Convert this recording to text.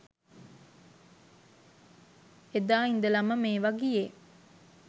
එදා ඉදලම මේවා ගියේ